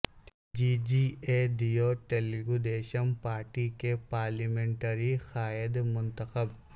جی جئے دیو تلگودیشم پارٹی کے پارلیمنٹری قائد منتخب